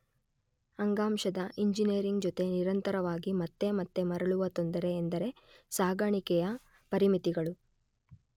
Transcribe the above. ಅಂಗಾಂಶದ ಇಂಜಿನಿಯರಿಂಗ್ ಜೊತೆ ನಿರಂತರವಾಗಿ ಮತ್ತೆ ಮತ್ತೆ ಮರಳುವ ತೊಂದರೆ ಎಂದರೆ ಸಾಗಣಿಕೆಯ ಪರಿಮಿತಿಗಳು.